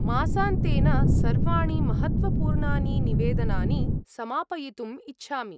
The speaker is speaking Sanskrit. मासान्तेन सर्वाणि महत्त्वपूर्णानि निवेदनानि समापयितुम् इच्छामि।।